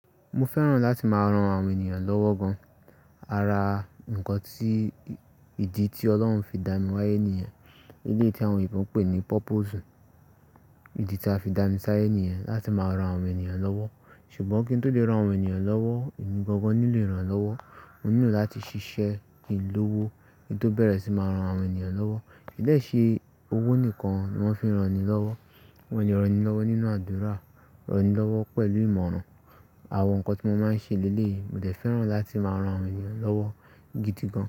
Mo fẹ́ràn láti máa ran àwọn ènìyàn lọ́wọ́ gan. Ara nǹkan tí ìdí tí Ọlọ́run fi dà mí wáyé nìyẹn. Léétí àwọn oyinbo n pè ní purpose. Ìdí tí a fi dà mí sí ayé nìyẹn, láti máa ran àwọn ènìyàn lọ́wọ́. Ṣùgbọ́n kí n tó lè ran àwọn ènìyàn lọ́wọ́, èmi gbogbo nílò ìrànlọ́wọ́. Mo nílò láti ṣiṣẹ́ kin lówó, kí n tó bẹ̀rẹ̀ sí máa ran àwọn ènìyàn lọ́wọ́. Kì í dé ṣe owó nìkan ni wọ́n fi ń ran eni lọ́wọ́. Wọ́n ní ran eni lọ́wọ́ nínú àdúrà, ran ni lọ́wọ́ pẹ̀lú ìmọ̀ràn. Àwọn nǹkan tí mo máa ń ṣe léleyi, mo dẹ̀ fẹ́ràn láti máa ran àwọn ènìyàn lọ́wọ́ gidi gan.